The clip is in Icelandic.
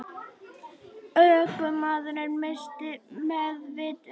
Ökumaðurinn missti meðvitund